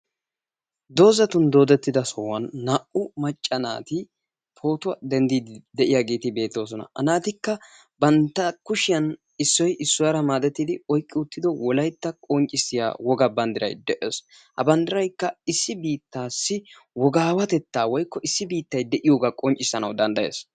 Doozatun doodetida sohuwaan naa''u macca naati pootuwaa denddiidi de'iyaageeti beettosona. Ha naatikka bantta kushshiyaa issoy issuwaara maadetidi oyqqi uttido wolaytta qonccissiyaa wogaa banddiray de'ees. ha banddiraykka issi biittassi wogawatetta woykko issi biittay de'iyooga qonccissanaw danddayees.